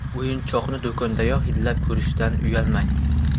O‘yinchoqni do‘kondayoq hidlab ko‘rishdan uyalmang.